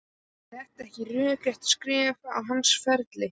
Er þetta ekki rökrétt skref á hans ferli?